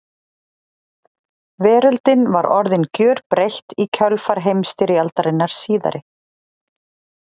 Veröldin var orðin gjörbreytt í kjölfar heimsstyrjaldarinnar síðari.